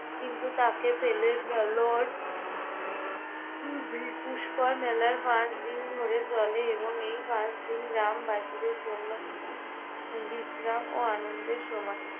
কিন্তু তাকে পেলেন না। Lord পুষ্কর মেলার পাঁচ দিন ধরে চলে এবং এই পাঁচ দিন গ্রাম বাসীদের জন্য উম বিশ্রাম ও আনন্দের সময়।